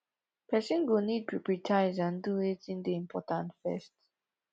person go need to pripritize and do wetin dey important first